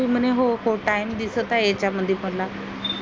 तुमने हो हो time दिसत आहे याच्यामध्ये मला